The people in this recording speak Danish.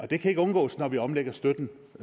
det kan ikke undgås når vi omlægger støtten